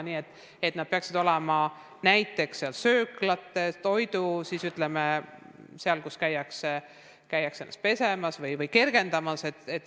Need peaksid olema näiteks sööklates ja seal, kus käiakse ennast pesemas või kergendamas.